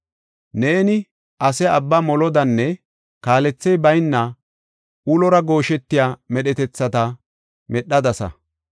Neeni ase abba molodanne kaalethey bayna ulora gooshetiya medhetethata medhadasa.